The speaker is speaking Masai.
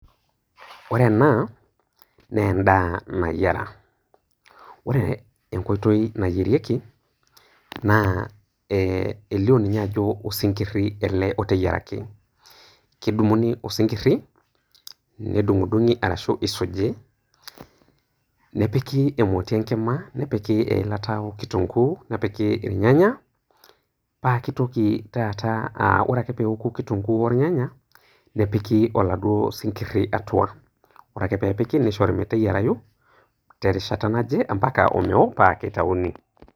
Oreena neenda nayiera. Ore enkoitoi nayierieki naa ee elio ninye ajo osinkirri ele oteyieraki, kedung'uni osinkirri nedung'udung'i ashu eisuji, nepiki emoti enkima, nepiki eilata o kitunguu, nepiki  ilnyanya, paake eitoki tata aa ore ake peeoku kitunguu olnyanya nepiki oladuo sinkirri atua, ore ake peepiki neishori meteyerayu terishata naje ampaka omeo paake eitauni.